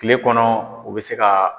Kile kɔnɔ u be se ka